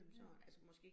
Ja